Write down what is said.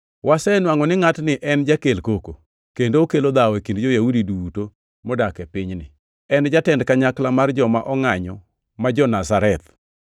“Wasenwangʼo ni ngʼatni en jakel koko, kendo okelo dhawo e kind jo-Yahudi duto modak e pinyni. En jatend kanyakla mar joma ongʼanyo ma jo-Nazareth,